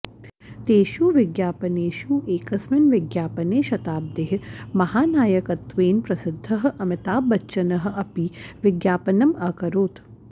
तेषु विज्ञापनेषु एकस्मिन् विज्ञापने शताब्देः महानायकत्वेन प्रसिद्धः अमिताभबच्चनः अपि विज्ञापनम् अकरोत्